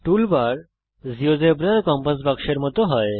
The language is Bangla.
টুল বার জীয়োজেব্রার কম্পাস বাক্সের মত হয়